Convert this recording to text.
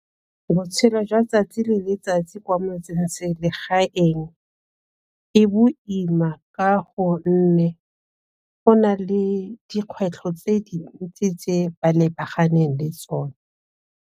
Botshelo jwa tsatsi le letsatsi kwa motse-selegaeng e boima ka gonne go na le dikgwetlho tse dintsi tse ba lebaganeng le tsone.